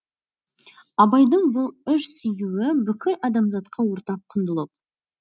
абайдың бұл үш сүюі бүкіл адамзатқа ортақ құндылық